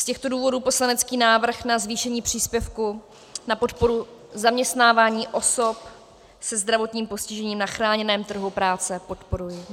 Z těchto důvodů poslanecký návrh na zvýšení příspěvku na podporu zaměstnávání osob se zdravotním postižením na chráněném trhu práce podporuji.